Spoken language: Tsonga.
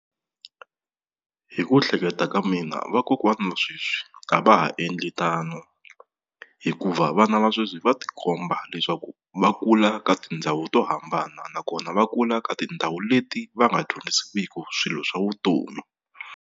Hi ku hleketa ka mina vakokwana va sweswi a va ha endli tano, hikuva vana va sweswi va tikomba leswaku va kula ka tindhawu to hambana nakona va kula ka tindhawu leti va nga dyondzisiwiki swilo swa vutomi.